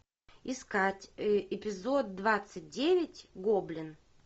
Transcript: искать эпизод двадцать девять гоблин